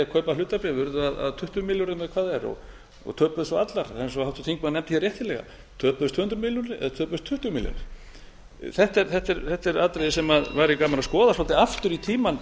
kaupa hlutabréf urðu að tuttugu milljörðum eða hvað það er og töpuðust svo allar eins og háttvirtur þingmaður nefndi hér réttilega töpuðust tvö hundruð milljónir eða töpuðust tuttugu milljarðar þetta er atriði sem væri gaman að skoða svolítið aftur í tímann